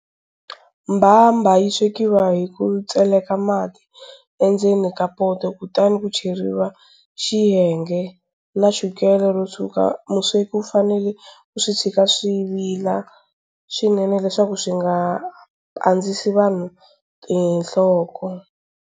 Mbhambha yi swekiwa hi ku tseleka mati endzeni ka poto, kutani ku cheriwa xihenge na chukele ro tshwuka. Musweki u fanele ku swi tshika swi vila swinene leswaku swi nga pandzisi vanhu tinhloko.